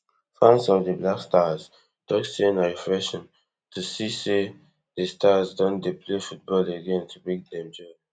fans of di blackstars tok say na refreshing to see say di stars don dey play football again to bring dem joy